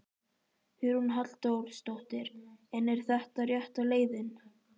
Hugrún Halldórsdóttir: En er þetta rétta leiðin?